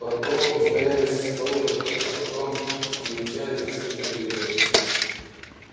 под проволокой стояли столы а потом измельчали засушенные грибы